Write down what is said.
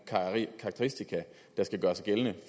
karakteristika der skal gøre sig gældende